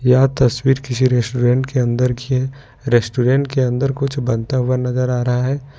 यह तस्वीर किसी रेस्टोरेंट के अंदर की रेस्टोरेंट के अंदर कुछ बनता हुआ नजर आ रहा है।